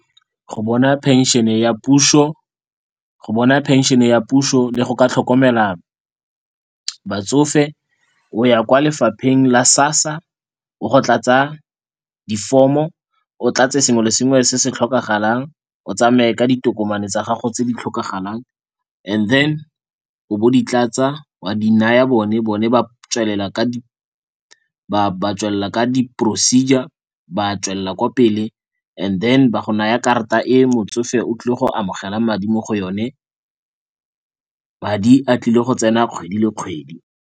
Go bona phenšene ya puso le go ka tlhokomela batsofe o ya kwa lefapheng la SASSA o go tlatsa di-form-o, o tlatse sengwe le sengwe se se tlhokagalang, o tsamaye ka ditokomane tsa gago tse di tlhokagalang, and then o bo o di tlatsa wa di naya bone, bone ba tswelela ka di procedure, ba tswelela kwa pele and then ba go naya karata e motsofe o tlile go amogelang madi mo go yone. Madi a tlile go tsena kgwedi le kgwedi.